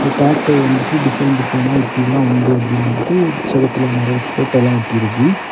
Tattoo வந்துட்டு design டிசைனா இப்படி எல்லா உண்டு அப்படின்னு வந்துட்டு செவுத்துல நிறைய போட்டோ எல்லா ஒட்டி இருக்கு.